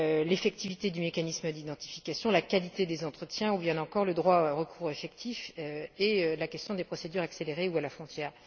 l'efficacité du mécanisme d'identification, la qualité des entretiens ou bien encore le droit à un recours effectif et la question des procédures accélérées ou à la frontière.